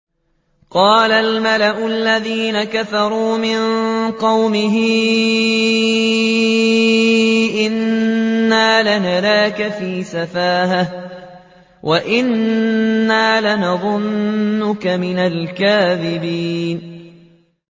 قَالَ الْمَلَأُ الَّذِينَ كَفَرُوا مِن قَوْمِهِ إِنَّا لَنَرَاكَ فِي سَفَاهَةٍ وَإِنَّا لَنَظُنُّكَ مِنَ الْكَاذِبِينَ